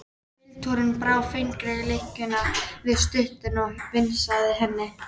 Pilturinn brá fingri í lykkjuna við stútinn og vingsaði henni.